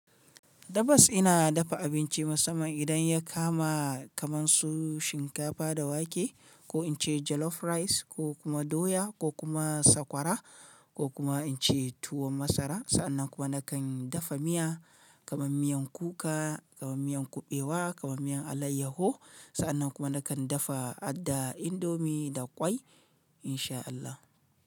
Tabbas ina dafa abinci musamman idan ya kama kaman su shinkafa da wake ko in ce jollof rice ko kuma doya ko kuma sakwara ko kuma in ce tuwon masara. Sa'annan kuma nakan dafa miya kaman miyan kuka, kaman miyan kuɓewa, kaman miyan alayyaho. Sa'annan kuma nakan dafa adda, indomie da ƙwai in sha Allah.